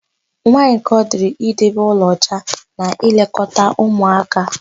Nwaaanyị ka ọ dịrị idebe ụlọ ọcha na ịlekọta ụmụaka.